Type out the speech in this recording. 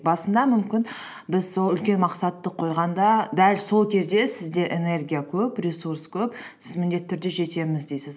басында мүмкін біз сол үлкен мақсатты қойғанда дәл сол кезде сізде энергия көп ресурс көп сіз міндетті түрде жетемін дейсіз